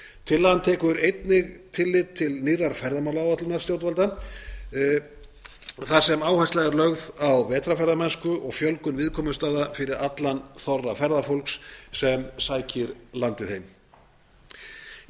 tillagan tekur einnig tillit til nýrrar ferðamálaáætlunar stjórnvalda þar sem áhersla er lögð á vetrarferðamennsku og fjölgun viðkomustaða fyrir allan þorra ferðafólks sem sækir landið heim í